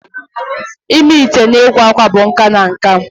Ịme ite na ịkwa akwa bụ nka na nka